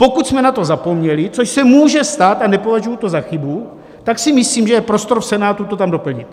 Pokud jsme na to zapomněli, což se může stát a nepovažuji to za chybu, tak si myslím, že je prostor v Senátu to tam doplnit.